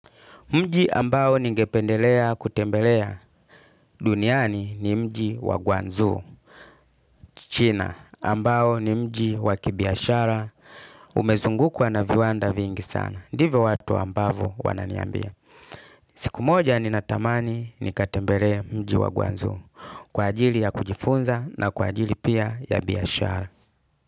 Mji ambao ningependelea kutembelea duniani ni mji wa gwanzu. China ambao ni mji wa kibiashara umezungu kwa na viwanda vingi sana. Ndivo watu ambavo wananiambia. Siku moja ni na tamani ni katembelee mji wa gwanzu. Kwa ajili ya kujifunza na kwa ajili pia ya biashara.